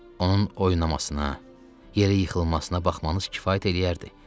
Onun oynamasına, yerə yıxılmasına baxmanız kifayət eləyərdi.